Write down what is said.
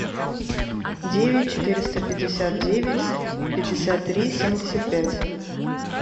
девять четыреста пятьдесят девять пятьдесят три семьдесят пять